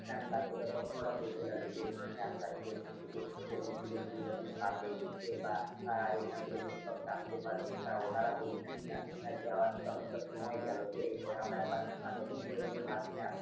তারপর তো তখন ওরা বলতে লাগলো যে এই রকম একটা app আছে, এখন থেকে এই রকম সুযোগ সুবিধা তুমি পাবে, বা এখন থেকে তুমি সব জানতে পারবে। তা ওনারা বলছেন কিনা আজ কে তো অনেকটা সময় গেলো তো এর পর আমরা একবার নতুন করে new version এ.